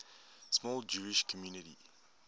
small jewish community